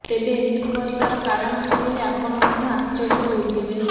ତେବେ ଏମିତି କରିବାର କାରଣ ଶୁଣିଲେ ଆପଣ ମଧ୍ୟ ଆଶ୍ଚର୍ଯ୍ୟ ହୋଇଯିବେ